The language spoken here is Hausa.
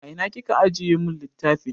A ina kika ajiye mun littafin?